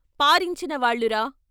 పారించిన వాళ్ళురా.